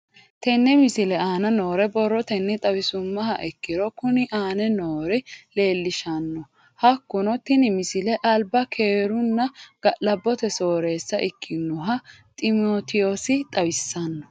Tenne misile aana noore borrotenni xawisummoha ikirro kunni aane noore leelishano. Hakunno tinni misile alba keerunna ga'labbote sooreessa ikkinoha ximiteewosi xawisanno.